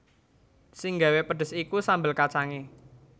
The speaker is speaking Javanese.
Sing nggawé pedhes iku sambel kacangé